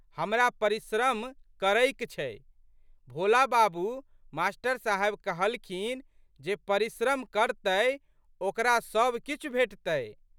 हमरा परिश्रम करैक छै। भोला बाबू मा.साहेब कहलखिन, जे परिश्रम करतै ओकरा सब किछु भेटतै।